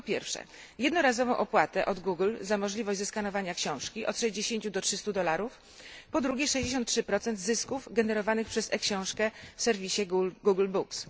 Po pierwsze, jednorazową opłatę od Google'a za możliwość zeskanowania książki od 60 do 300 dolarów, po drugie 63 zysków generowanych przez e książkę w serwisie Google Books.